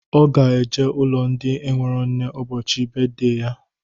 Ọ ga-eje ụlọ ndị enwero nne ụbọchị beedey ya